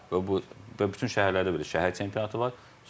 Və bütün şəhərlərdə belə şəhər çempionatı var.